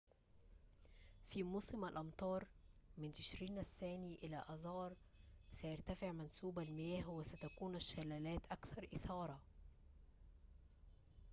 في موسم الأمطار من تشرين الثاني إلى آذار، سيرتفع منسوب المياه وستكون الشلالات أكثر إثارة